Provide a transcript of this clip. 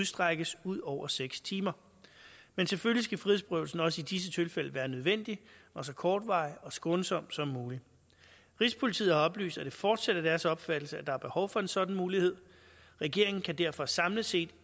strækkes ud over seks timer men selvfølgelig skal frihedsberøvelsen også i disse tilfælde være nødvendig og så kortvarig og skånsom som muligt rigspolitiet har oplyst at det fortsat er deres opfattelse at der er behov for en sådan mulighed regeringen kan derfor samlet set